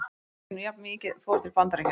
Nokkurn veginn jafnmikið fór til Bandaríkjanna.